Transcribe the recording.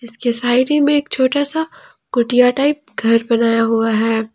इसके साइड ही में एक छोटा सा कुटिया टाइप घर बनाया हुआ है।